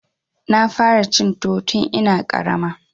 Na fara cin tuwo tun ina ƙarama.